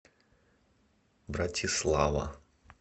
братислава